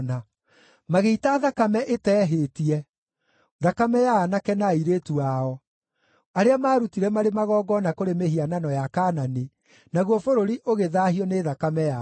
Magĩita thakame ĩteehĩtie, thakame ya aanake na airĩtu ao, arĩa maarutire marĩ magongona kũrĩ mĩhianano ya Kaanani, naguo bũrũri ũgĩthaahio nĩ thakame yao.